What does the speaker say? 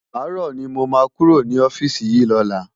Àárò ni mó má kúró ni òfisi yi lòlá